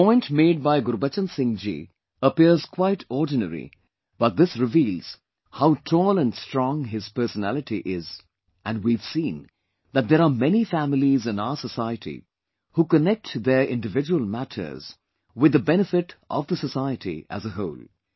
This point made by Gurbachan Singh ji appears quite ordinary but this reveals how tall and strong his personality is and we have seen that there are many families in our society who connect their individual matters with the benefit of the society as a whole